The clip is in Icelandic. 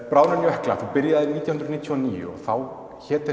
bráðnun jökla þú byrjaðir nítján hundruð níutíu og níu og þá hét